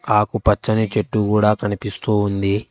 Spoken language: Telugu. ఆకు పచ్చని చెట్టు గూడా కనిపిస్తూ ఉంది.